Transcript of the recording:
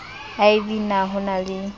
iv na ho na le